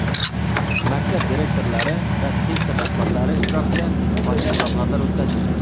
maktab direktorlari va sektor rahbarlari ishtirokida ochiq muloqotlar o‘tkazildi.